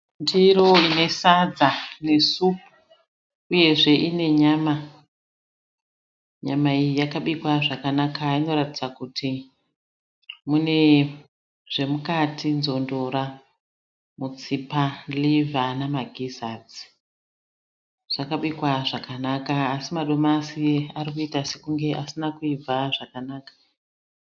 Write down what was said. Ndiro ine sadza nesupu uyezve ine nyama. Nyama iyi yakabikwa zvakanaka inoratidza kuti mune zvemukati nzondora, mutsipa, rivha nemagizadzi. Zvakabikwa zvakanaka asi madomasi arikuita sekunge asina kuibva zvakanaka.